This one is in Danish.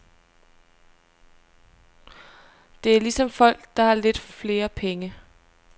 Det er ligesom folk, der har lidt flere penge.